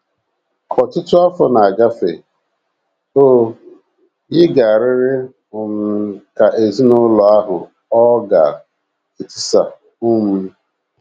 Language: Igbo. Ka ọtụtụ afọ na - agafe, o yikarịrị um ka ezinụlọ ahụ ọ̀ ga - etisa um.